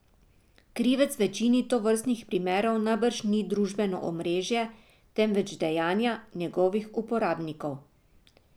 Krivec v večini tovrstnih primerov najbrž ni družbeno omrežje, temveč dejanja njegovih uporabnikov.